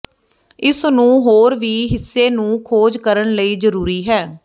ਇਸ ਨੂੰ ਹੋਰ ਵੀ ਹਿੱਸੇ ਨੂੰ ਖੋਜ ਕਰਨ ਲਈ ਜ਼ਰੂਰੀ ਹੈ